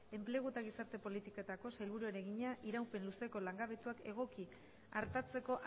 enplegu eta gizarte politiketako sailburuari egina iraupen luzeko langabetuak egoki artatzeko